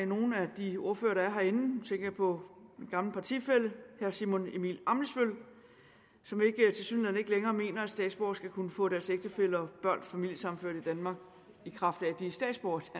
nogle af de ordførere der er herinde nu tænker jeg på min gamle partifælle herre simon emil ammitzbøll som tilsyneladende ikke længere mener at statsborgere skal kunne få deres ægtefæller og børn familiesammenført i danmark i kraft af at de er statsborgere